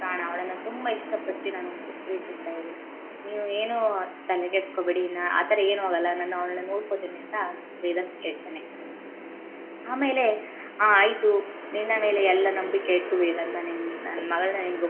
ನನ್ನ ಪ್ರಾಣ ಅವಳನ್ನ ತುಂಬಾ ಇಷ್ಟ ಪಟ್ಟು ಪ್ರೀತಿಸ್ತ ಇದೀನಿ ನೀವು ಏನೂ ತಲೆ ಕೆಡಸ್ಕೋಬೇಡಿ ಆತರ ಏನೂ ಆಗಲ್ಲ ನಾನು ಅವಳ್ನಾ ಅವಳನ ನೋಡಕೊಳ್ತೀನಿ. ಅಂತ ವೇದಾಂತ ಹೇಳ್ತಾನೇ ಆಮೇಲೆ ಆಯ್ತು ನಿನ್ನ ಮೇಲೆ ಎಲ್ಲ ನಂಬಿಕೆ ಇಟ್ಟು ವೇದಾಂತ ನನ್ನ ಮಗಳನ ನಿಂಗೆ,